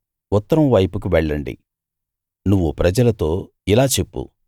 ఉత్తరం వైపుకు వెళ్ళండి నువ్వు ప్రజలతో ఇలా చెప్పు